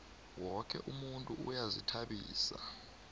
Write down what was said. woke umuntu uyazihtabisa